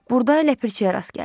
Burda ləpirçiyə rast gəldi.